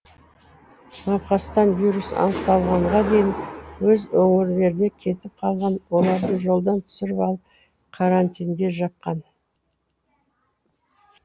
науқастан вирус анықталғанға дейін өз өңірлеріне кетіп қалған оларды жолдан түсіріп алып карантинге жапқан